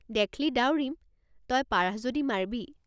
দেখ্ লি দাউৰিমতই পাৰাহ যদি মাৰ্বি।